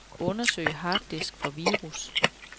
Undersøg harddisk for virus.